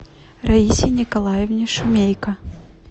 раисе николаевне шумейко